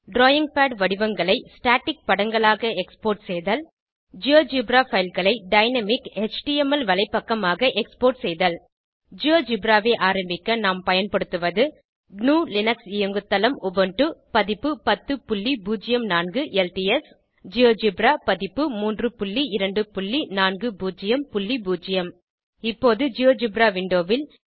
drawing pad வடிவங்களை static படங்களாக export செய்தல் ஜியோஜெப்ரா பைல் களை டைனாமிக் எச்டிஎம்எல் வலைப்பக்கமாக எக்ஸ்போர்ட் செய்தல் ஜியோஜெப்ரா ஐ ஆரம்பிக்க நாம் பயன்படுத்துவது gnuலினக்ஸ் இயங்குதளம் உபுண்டு பதிப்பு 1004 எல்டிஎஸ் ஜியோஜெப்ரா பதிப்பு 32400 இப்போது ஜியோஜெப்ரா விண்டோ ல்